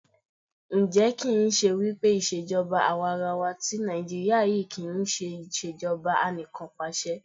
Ǹjẹ́ kì ń ṣe wípé ìṣèjọba àwarawa tí Nàìjíríà yí kí ń ṣe ìṣèjọba Anìkanpàṣẹ?